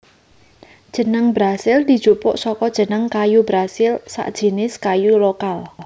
Jeneng Brasil dijupuk saka jeneng kayu brasil sajinis kayu lokal